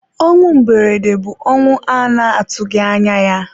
ọnwụ mberede bụ ọnwụ a na-atụghị anya ya.